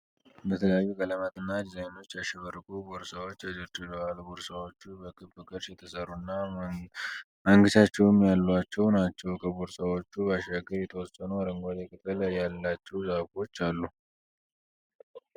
በተለያዩ ቀለማት እና ዲዛይኖች ያሸበረቁ ቦርሳዎች ተደርድረዋል። ቦርሳዎቹ በክብ ቅርጽ የተሰሩ እና ማንገቻዎችም ያሏቸው ናቸው። ከቦርሳዎቹ ባሻገር የተወሰኑ አረንጓዴ ቅጠል ያላቸው ዛፎች አሉ።